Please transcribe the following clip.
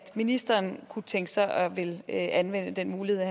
ministeren kunne tænke sig at ville anvende den mulighed